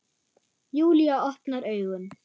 Júlía opnar augun.